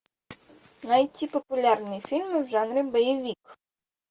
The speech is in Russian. найти популярные фильмы в жанре боевик